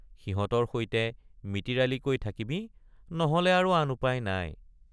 সিহঁতৰ সৈতে মিতিৰালিকৈ থাকিবি নহলে আৰু আন উপায় নাই।